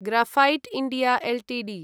graphite India Ltd